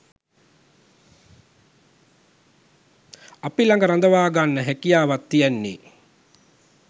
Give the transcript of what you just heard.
අප ළඟ රඳවාගන්න හැකියාව තියෙන්නෙ.